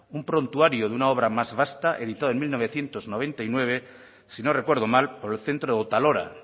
un prontuario de una obra más vasta editado en mil novecientos noventa y nueve si no recuerdo mal por el centro otalora